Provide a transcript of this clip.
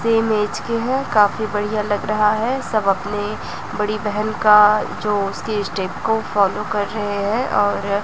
same age के हैं काफी बढ़िया लग रहा है सब अपने बड़ी बहन का जो उसके स्टेप को फॉलो कर रहे हैं और--